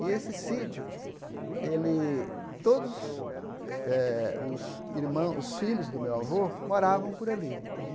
E esse sítio, ele todos eh os irmã os filhos do meu avô moravam por ali. Então